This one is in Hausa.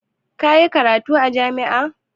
Ka yi karatu a jami'a?